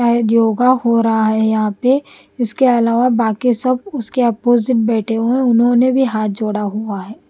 योगा हो रहा है यहाँ पे इसके अलावा बाकी सब उसके अपोजिट बैठे हुए हैं उन्होंने भी हाथ जोड़ा हुआ है।